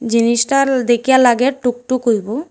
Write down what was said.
জিনিসটাল দেইখা লাগে টুকটুক হইবো।